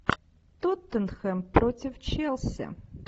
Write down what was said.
тоттенхэм против челси